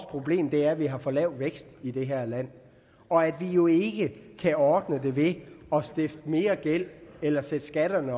problemet er at vi har for lav vækst i det her land og at vi jo ikke kan ordne det ved at stifte mere gæld eller sætte skatterne